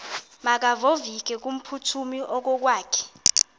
makevovike kumphuthumi okokwakhe